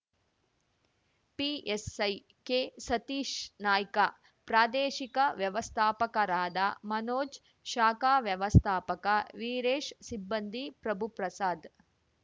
PSI K Satish Naik ಪ್ರಾದೇಶಿಕ ವ್ಯವಸ್ಥಾಪಕರಾದ ಮನೋಜ್‌ ಶಾಖಾ ವ್ಯವಸ್ಥಾಪಕ ವೀರೇಶ್‌ ಸಿಬ್ಬಂದಿ ಪ್ರಭುಪ್ರಸಾದ್‌